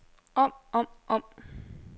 om om om